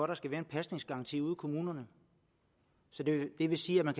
der skal være en pasningsgaranti ude i kommunerne så det vil sige at man